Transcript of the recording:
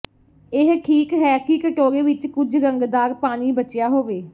ਇਹ ਠੀਕ ਹੈ ਕਿ ਕਟੋਰੇ ਵਿੱਚ ਕੁਝ ਰੰਗਦਾਰ ਪਾਣੀ ਬਚਿਆ ਹੋਵੇ